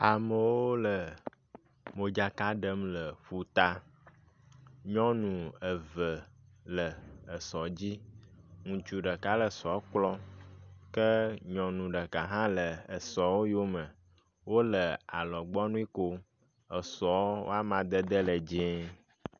Amewo le modzaka ɖem le ƒuta. Nyɔnu eve le esɔ dzi. Ŋutsu ɖeka le sɔ kplɔm ke nyɔnu ɖeka hã le esɔ yome wo le alɔgbɔnui kom. Esɔ wo amadede le dzie